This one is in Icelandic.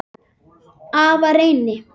Afa Reyni.